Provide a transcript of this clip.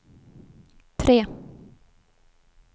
tre